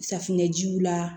Safunɛjiw la